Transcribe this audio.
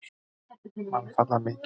Mannfall var mikið.